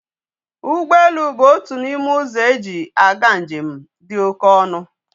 Ugbo elu bu otu na ime uzo eji aga njem di oke onu